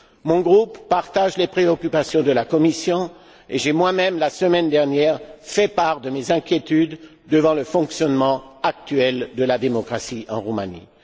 Mon groupe partage les préoccupations de la Commission et j'ai moi même, la semaine dernière, fait part de mes inquiétudes face au fonctionnement actuel de la démocratie en Roumanie.